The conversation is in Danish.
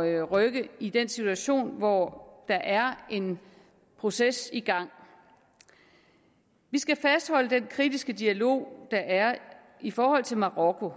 at rykke i den situation hvor der er en proces i gang vi skal fastholde den kritiske dialog der er i forhold til marokko